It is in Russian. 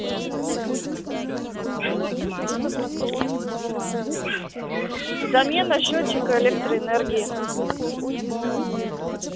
замена счётчика электроэнергии